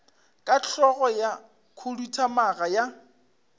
ka hlogo ya khuduthamaga ya